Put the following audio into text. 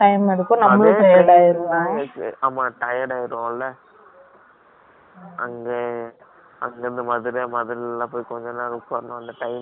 ஆமா, tired ஆயிடுவோம் இல்ல? அங்க, அங்க இருந்து மதுரை, மதுரை எல்லாம் போய், கொஞ்ச நேரம் உட்கார்ந்தோம். அந்த times இருக்காது